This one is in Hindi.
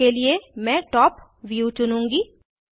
उदाहरण के लिए मैं टॉप व्यू चुनुँगी